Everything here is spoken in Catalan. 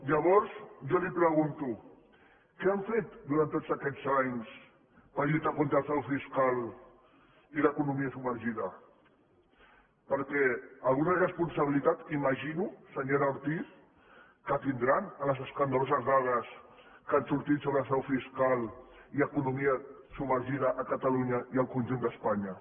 llavors jo li pregunto què han fet durant tots aquests anys per lluitar contra el frau fiscal i l’economia submergida perquè alguna responsabilitat imagino senyora ortiz que deuen tenir en les escandaloses dades que han sortit sobre frau fiscal i economia submergida a catalunya i al conjunt d’espanya